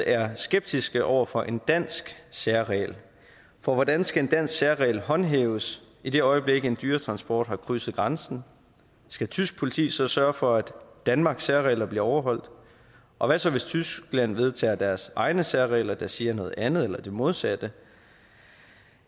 er skeptisk over for en dansk særregel for hvordan skal en dansk særregel håndhæves i det øjeblik en dyretransport har krydset grænsen skal tysk politi så sørge for at danmarks særregler bliver overholdt og hvad så hvis tyskland vedtager deres egne særregler der siger noget andet eller det modsatte